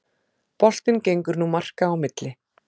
Boltinn gengur nú marka á milli